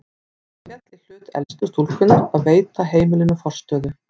Það féll í hlut elstu stúlkunnar að veita heimilinu forstöðu.